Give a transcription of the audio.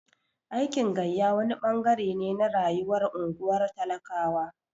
Aikin gayya wani ɓangare ne na rayuwar unguwar talakawa.